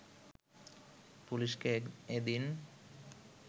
পুলিশকে এদিন